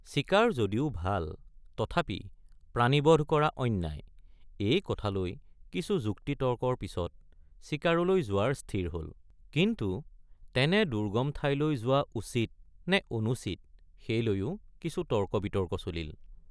চিকাৰ যদিও ভাল তথাপি প্ৰাণীবধ কৰা অন্যায় এই কথা লৈ কিছু যুক্তিতৰ্কৰ পিচত চিকাৰলৈ যোৱাৰ স্থিৰ হল কিন্তু তেনে দুৰ্গম ঠাইলৈ যোৱা উচিত নে অনুচিত সেই লৈয়ো কিছু তৰ্কবিতৰ্ক চলিল।